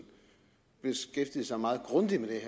har beskæftiget sig meget grundigt med det